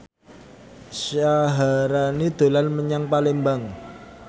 Syaharani dolan menyang Palembang